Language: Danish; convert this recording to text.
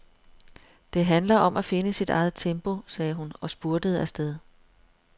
Det handler om at finde sit eget tempo, sagde hun og spurtede afsted.